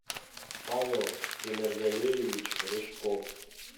павел темергалеевич рыжков